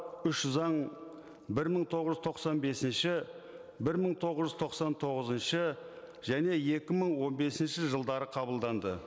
үш заң бір мың тоғыз жүз тоқсан бесінші бір мың тоғыз жүз тоқсан тоғызыншы және екі мың он бесінші жылдары қабылданды